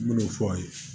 N me n'o fɔ aw ye